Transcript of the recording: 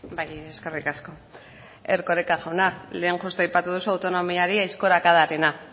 bai eskerrik asko erkoreka jauna lehen justu aipatu duzu autonomiari aizkorakadarena